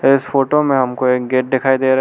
इस फोटो में हमको एक गेट दिखाई दे रहा है।